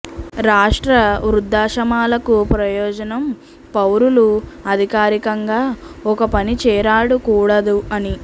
రాష్ట్ర వృద్ధాశ్రమాలకు ప్రయోజనం పౌరులు అధికారికంగా ఒక పని చేరాడు కూడదు అని